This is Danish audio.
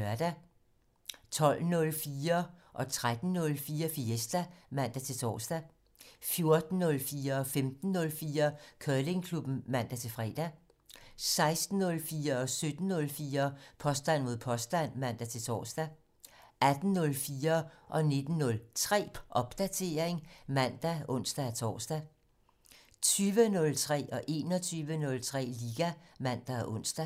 12:04: Fiesta (man-tor) 13:04: Fiesta (man-tor) 14:04: Curlingklubben (man-fre) 15:04: Curlingklubben (man-fre) 16:04: Påstand mod påstand (man-tor) 17:04: Påstand mod påstand (man-tor) 18:04: Popdatering (man og ons-tor) 19:03: Popdatering (man og ons-tor) 20:03: Liga ( man, ons, fre) 21:03: Liga (man og ons)